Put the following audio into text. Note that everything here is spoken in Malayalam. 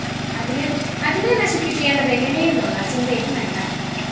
അതിനെ നശിപ്പിക്കേണ്ടതെങ്ങിനെയെന്നുള്ള ചിന്തയും വേണ്ട